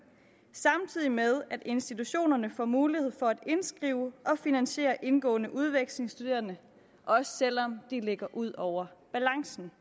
samtidig med at institutionerne får mulighed for at indskrive og finansiere indgående udvekslingsstuderende også selv om de ligger ud over balancen